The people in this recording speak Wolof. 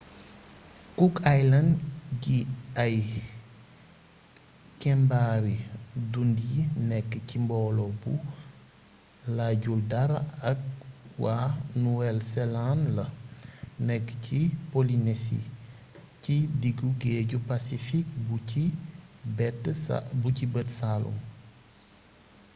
cook island yi ay kembaari dunyi nekk ci mbooloo bu laajul dara ak wa nuwel seland la nekk ci polinesi ci diggu géeju pacfik bu ci bët saalum